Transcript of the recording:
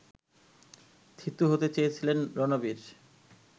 থিতু হতে চেয়েছিলেন রণবীর